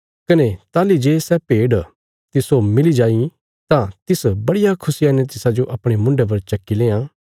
कने ताहली जे सै भेड तिस्सो मिली जाईं तां तिस बड़िया खुशिया ने तिसाजो अपणे मुन्ढे पर चक्की लेआं